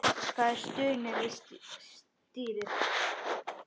Það er stunið við stýrið.